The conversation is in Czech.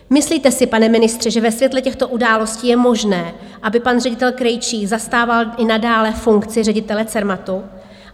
Myslíte si, pane ministře, že ve světle těchto událostí je možné, aby pan ředitel Krejčí zastával i nadále funkci ředitele Cermatu?